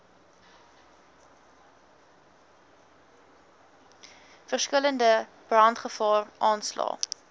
verskillende brandgevaar aanslae